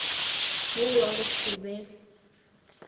wo wa go se be